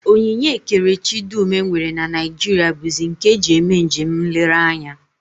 Onyinye ekerechi dum e nwere na Naijiria bụzi nke e ji eme njem nlereanya